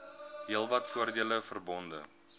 heelwat voordele verbonde